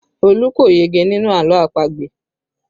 Olu kò yege nínú àlọ́ àpagbè